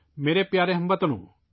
میرے پیارے ہم وطنو ،